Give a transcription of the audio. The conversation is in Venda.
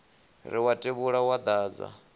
ri wa tevhula wo dadza